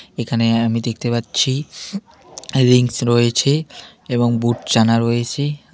এখানে আমি দেখতে পাচ্ছি রিংস রয়েছে এবং বুট চানা রয়েছে আমি --